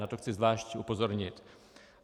Na to chci zvlášť upozornit.